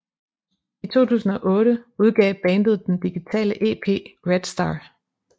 I 2008 udgav bandet den digitale EP Red Star